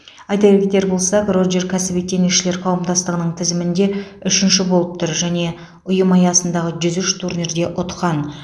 айта кетер болсақ роджер кәсіби теннисшілер қауымдастығының тізімінде үшінші болып тұр және ұйым аясындағы жүз үш турнирде ұтқан